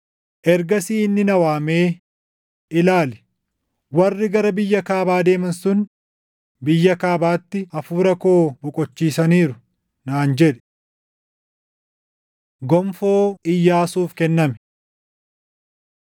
Ergasii inni na waamee, “Ilaali, warri gara biyya kaabaa deeman sun biyya kaabaatti Hafuura koo boqochiisaniiru” naan jedhe. Gonfoo Iyyaasuuf Kenname